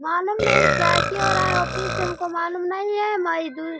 मालूम नहीं क्या-क्या हो रहा है ऑफिस में हमको मालूम नहीं है माय --